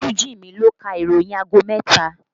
Olú Jimi ló ka ìròyìn aago mẹ́ta